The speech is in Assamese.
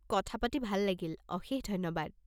কথা পাতি ভাল লাগিল! অশেষ ধন্যবাদ!